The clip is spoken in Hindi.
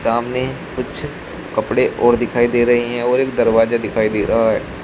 सामने कुछ कपड़े और दिखाई दे रहे हैं और एक दरवाजा दिखाई दे रहा है।